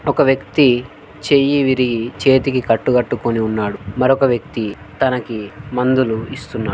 ఒక వ్యక్తి చెయ్యి విరిగి చేతికి కట్టుకట్టుకొని ఉన్నాడు. మరొక వ్యక్తి తనకి మందులు ఇస్తున్నా--